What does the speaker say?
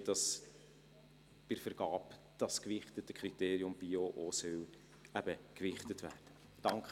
Wie das bei der Vergabe gewichtete Kriterium Bio eben auch gewichtet werden soll.